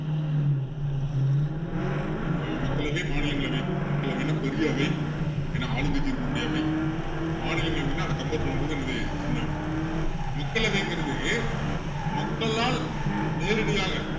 ஆஹ் மக்களவை மாநிலங்களவை மக்களவைன்னா பெரிய அவை ஏன்னா ஆளுங்கட்சி இருக்கக்கூடிய அவை மாநிலங்களவைன்னா அதை compare பண்ணும் போது என்னது சின்ன அவை மக்களவைங்கிறது மக்களால் நேரடியாக